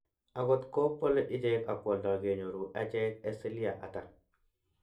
Ago kot go pole ichek ag kwoldo kenyoru echek asilia ata?